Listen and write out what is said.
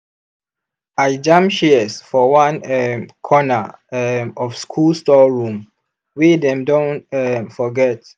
i jam shears for one um corner um of school storeroom wey dem don um forget.